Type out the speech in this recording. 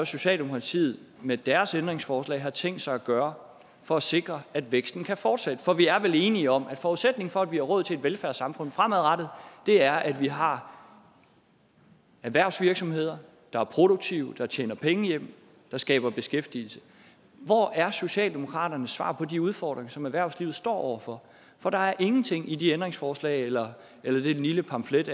socialdemokratiet med deres ændringsforslag har tænkt sig at gøre for at sikre at væksten kan fortsætte for vi er vel enige om at forudsætningen for at vi har råd til et velfærdssamfund fremadrettet er at vi har erhvervsvirksomheder der er produktive der tjener penge hjem der skaber beskæftigelse hvor er socialdemokratiets svar på de udfordringer som erhvervslivet står over for for der er ingenting i de ændringsforslag eller eller i den lille pamflet